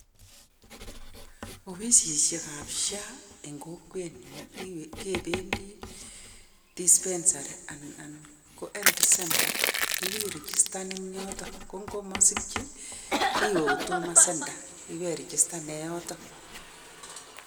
Opisisiekap SHA eng kokwetnyu kebendi dispensary anan ko health center ibirijistan en yotok. Ko ngomosikchi iwe huduma centre iwe irijistane yotok.